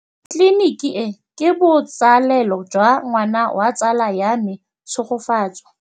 Tleliniki e, ke botsalêlô jwa ngwana wa tsala ya me Tshegofatso.